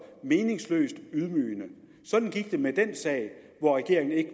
meningsløst og ydmygende sådan gik det med den sag hvor regeringen ikke